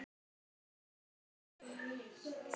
Margur henni stendur á.